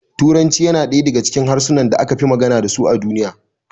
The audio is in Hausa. Turanci yana daya daga cikin harsunan da aka fi magana dasu a duniya